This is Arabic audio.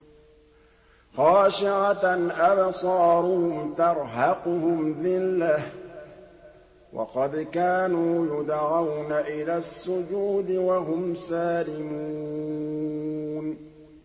خَاشِعَةً أَبْصَارُهُمْ تَرْهَقُهُمْ ذِلَّةٌ ۖ وَقَدْ كَانُوا يُدْعَوْنَ إِلَى السُّجُودِ وَهُمْ سَالِمُونَ